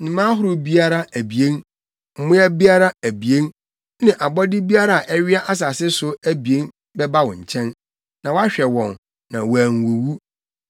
Nnomaa ahorow biara abien, mmoa biara abien, ne abɔde biara a ɛwea asase so abien bɛba wo nkyɛn, na woahwɛ wɔn, na wɔanwuwu.